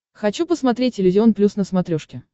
хочу посмотреть иллюзион плюс на смотрешке